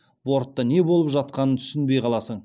бортта не болып жатқанын түсінбей қаласың